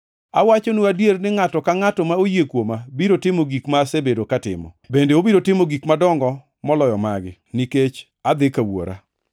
Awachonu adier, ni ngʼato ka ngʼato ma oyie kuoma biro timo gik ma asebedo ka atimo. Bende obiro timo gik madongo moloyo magi, nikech adhi ka Wuora.